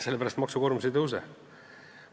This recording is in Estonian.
Selle pärast, et maksukoormus ei tõuse.